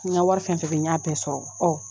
N ka wari fɛn fɛn bɛ yen n y'a bɛɛ sɔrɔ ɔ